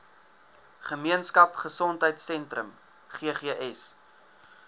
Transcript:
gemeenskap gesondheidsentrum ggs